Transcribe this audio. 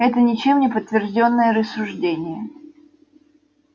это ничем не подтверждённые рассуждения